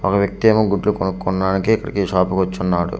ఒక వ్యక్తి ఏమో గుడ్లు కొనుక్కొన్నానికి ఇక్కడికి ఈ షాపుకు వచ్చుచున్నాడు.